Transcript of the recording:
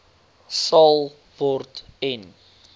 sal word en